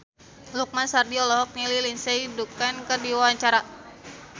Lukman Sardi olohok ningali Lindsay Ducan keur diwawancara